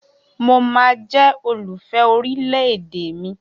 Mo máa jẹ́ olùfẹ́ orílẹ̀ èdè mi